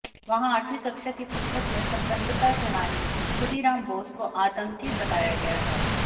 वहाँ आठवीं कक्षा की पुस्तक में स्वतन्त्रता सेनानी खुदीराम बोस को आतंकी बताया गया है